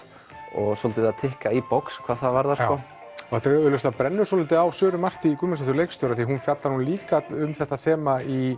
og svolítið að tikka í box hvað það varðar það brennur svolítið á Söru Martý Guðmundsdóttur leikstjóra af því hún fjallar líka um þetta þema í